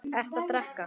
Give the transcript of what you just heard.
Ertu að drekka?